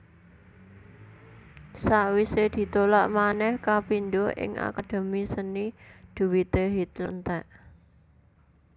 Sawisé ditolak manèh kapindho ing Akademi Seni dhuwité Hitler entèk